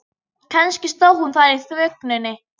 Kannski stóð hún þar í þvögunni.